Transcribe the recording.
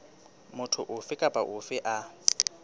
motho ofe kapa ofe a